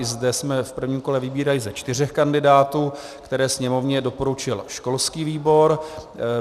I zde jsme v prvním kole vybírali ze čtyř kandidátů, které Sněmovně doporučil školský výbor.